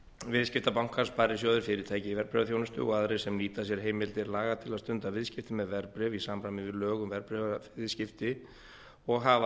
viðskiptabankar sparisjóðir fyrirtæki í verðbréfaþjónustu og aðrir sem nýta sér heimildir laga til að stunda viðskipti með verðbréf í samræmi við lög um verðbréfaviðskipti og hafa